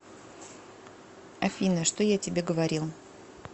афина что я тебе говорил